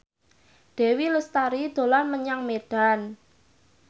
Dewi Lestari dolan menyang Medan